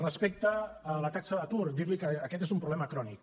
respecte a la taxa d’atur dir li que aquest és un problema crònic